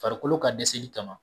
Farikolo ka dɛsɛli kama